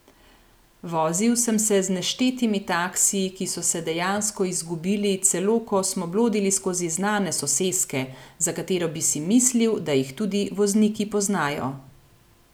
Vozil sem se z neštetimi taksiji, ki so se dejansko izgubili celo, ko smo blodili skozi znane soseske, za katere bi si mislil, da jih tudi vozniki poznajo.